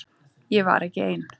Ég var ekki ein.